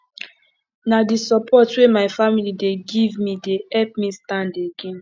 na di support wey my family dey give me dey help me stand again